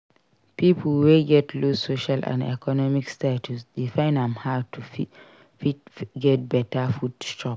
Pipo wey get low social and economic status dey find am hard to fit get better food chop